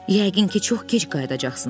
Yəqin ki çox gec qayıdacaqsınız.